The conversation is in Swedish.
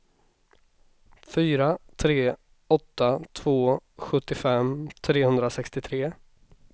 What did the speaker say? fyra tre åtta två sjuttiofem trehundrasextiotre